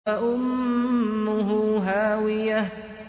فَأُمُّهُ هَاوِيَةٌ